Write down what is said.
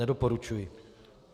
Nedoporučuji.